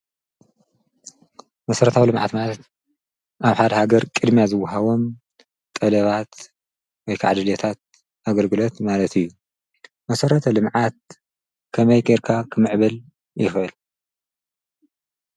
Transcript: መሰረታዊ ልምዓት ማለት አብ ሓደ ሃገር ቅድምያ ዝወሃቦም ጠለባት ወይ ከዓ ድልየታት አግልግሎት ማለት እዩ። መሰረተ ልምዓት ከመይ ገይርካ ክምዕብል ይክእል?